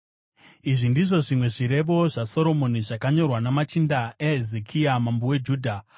Izvi ndizvo zvimwe zvirevo zvaSoromoni, zvakanyorwa namachinda aHezekia mambo weJudha: